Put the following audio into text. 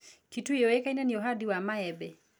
Kitui yũĩkaine nĩ ũhandi wa maembe.